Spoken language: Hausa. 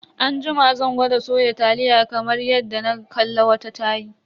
Anjima zan gwada soya taliya kamar yadda na kalla wata tayi.